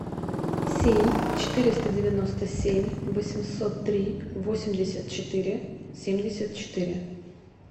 семь четыреста девяносто семь восемьсот три восемьдесят четыре семьдесят четыре